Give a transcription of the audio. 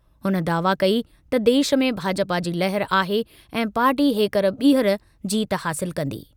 हुन दावा कई त देश में भाजपा जी लहर आहे ऐं पार्टी हेकर ॿीहर जीत हासिल कंदी।